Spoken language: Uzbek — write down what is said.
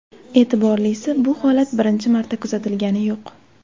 E’tiborlisi, bu holat birinchi marta kuzatilgani yo‘q.